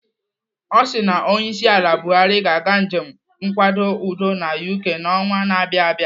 Ọ sị na onyeisiala Buhari ga-aga njem nkwado udo na UK n'ọnwa na abịa abịa.